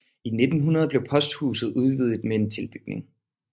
I 1900 blev posthuset udvidet med en tilbygning